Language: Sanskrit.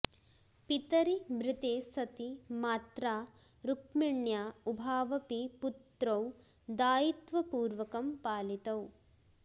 पितरि मृते सति मात्रा रूक्मिण्या उभावपि पुत्रौ दायित्वपूर्वकं पालितौ